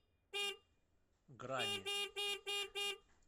грани